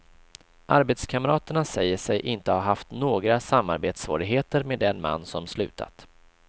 Arbetskamraterna säger sig inte ha haft några samarbetssvårigheter med den man som slutat.